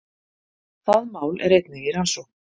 Það mál er einnig í rannsókn